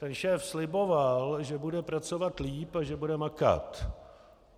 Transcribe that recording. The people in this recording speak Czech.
Ten šéf sliboval, že bude pracovat lépe a že bude makat.